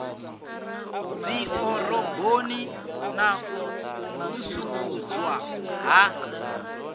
dziḓoroboni na u vusuludzwa ha